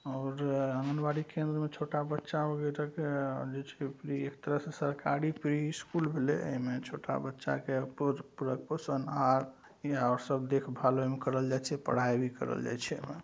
और आंगनवाड़ी केंद्र में छोटा बच्चा एक तरह से सरकारी प्री स्कूल होलई। अ इमें छोटा बच्चा के सन आर और सब देखभाल एवं करल जाइ छे पढ़ाई भी करल जाइ छे इमें।